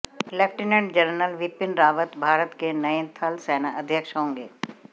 lieutenant general Bipin Rawat Bharat के नए थल सेनाध्यक्ष होंगे